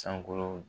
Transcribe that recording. Sankolo